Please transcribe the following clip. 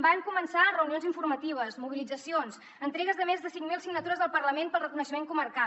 van començar reunions informatives mobilitzacions entregues de més de cinc mil signatures al parlament pel reconeixement comarcal